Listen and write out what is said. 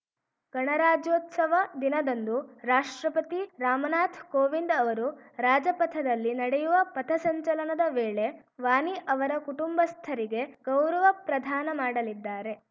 ಗಣರಾಜ್ಯೋತ್ಸವ ದಿನದಂದು ರಾಷ್ಟ್ರಪತಿ ರಾಮನಾಥ್ ಕೋವಿಂದ್‌ ಅವರು ರಾಜಪಥದಲ್ಲಿ ನಡೆಯುವ ಪಥಸಂಚಲನದ ವೇಳೆ ವಾನಿ ಅವರ ಕುಟುಂಬಸ್ಥರಿಗೆ ಗೌರವ ಪ್ರದಾನ ಮಾಡಲಿದ್ದಾರೆ